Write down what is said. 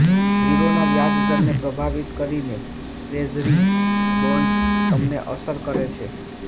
ગીરોના વ્યાજદરને પ્રભાવિત કરીને ટ્રેઝરી બોન્ડ્સ તમને અસર કરે છે